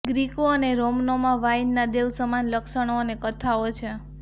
ગ્રીકો અને રોમનોમાં વાઇનના દેવ સમાન લક્ષણો અને કથાઓ છે